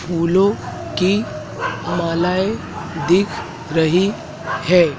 फूलों की मालाएं दिख रही है।